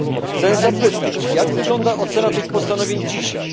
Chcę zapytać, jak wygląda ocena tych postanowień dzisiaj.